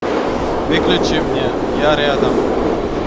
выключи мне я рядом